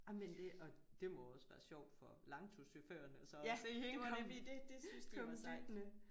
Ej men det og det må også være sjovt for langturschaufførerne så og se hende komme komme dyttende